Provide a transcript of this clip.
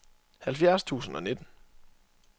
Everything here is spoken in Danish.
halvfjerds tusind og nitten